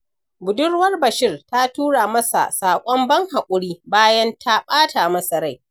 Budurwar Bashir ta tura masa saƙon ban haƙuri, bayan ta ɓata masa rai.